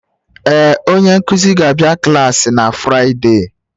Ee, onye nkuzi ga-abịa klaasị na Fraịde.